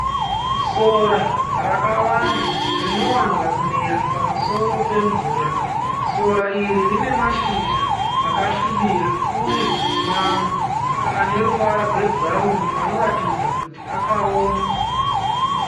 Sora rakawanda rinowadzakunera pamusoro pemvura. Sora iri rinamashizha akasvibira uye mamwe aneruvara rwebhurawuni anoratidza kuti akaoma.